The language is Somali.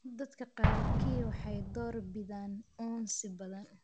dadka qaarkii waxay door bidaan uunsi badan